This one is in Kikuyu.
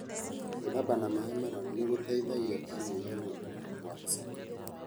Gwithamba na maĩ mararu nĩgũteithagia kũnyihia gũtura kwa icoka.